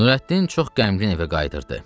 Nurəddin çox qəmgin evə qayıdırdı.